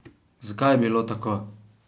Zakaj je bilo tako?